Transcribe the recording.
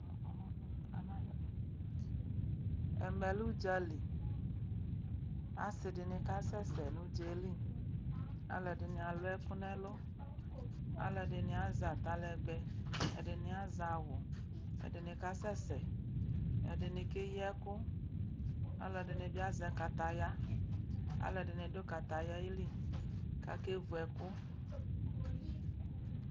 Ɛmɛ lɛ ʊdzaliasidini akasɛsɛ nu ʊdzali alu edini alu ɛkʊ nɛlʊ alu ɛdini azɛ atalɛgbɛ ɛdini azɛ awu kasɛsɛ ɛdini keyi ɛkʊ ɛdini azɛ kaya aluɛdini adu kataya li kakevu ekuʊ